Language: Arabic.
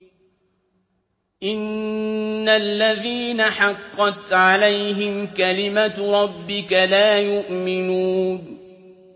إِنَّ الَّذِينَ حَقَّتْ عَلَيْهِمْ كَلِمَتُ رَبِّكَ لَا يُؤْمِنُونَ